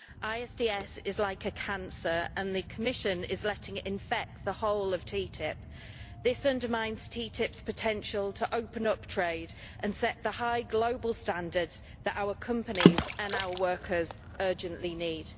ISDS is like a cancer and the Commission is letting it infect the whole of TTIP. This undermines TTIP's potential to open up trade and set the high global standards that our companies and our workers urgently need.